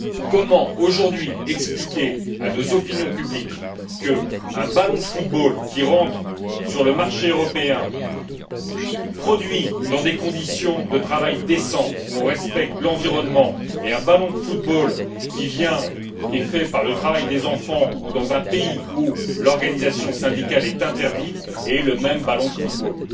Comment expliquer aujourd'hui à nos opinions publiques qu'un ballon de football qui rentre sur le marché européen, produit dans des conditions de travail décentes où on respecte l'environnement, et un ballon de football qui est fait par le travail des enfants ou dans un pays où l'organisation syndicale est interdite, est le même ballon de football?